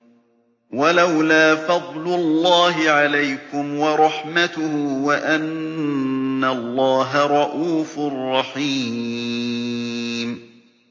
وَلَوْلَا فَضْلُ اللَّهِ عَلَيْكُمْ وَرَحْمَتُهُ وَأَنَّ اللَّهَ رَءُوفٌ رَّحِيمٌ